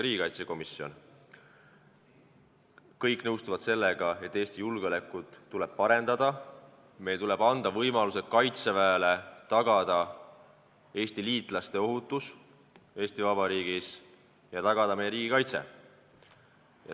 Kõik nõustuvad sellega, et Eesti julgeolekut tuleb parendada, tuleb anda Kaitseväele võimalus tagada Eesti liitlaste ohutus Eesti Vabariigis ja tagada meie riigi kaitse.